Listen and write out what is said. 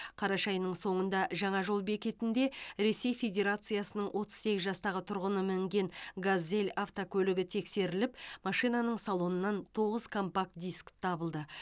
қараша айының соңында жаңа жол бекетінде ресей федерациясының отыз сегіз жастағы тұрғыны мінген газель автокөлігі тексеріліп машинаның салонынан тоғыз компакт дискі табылды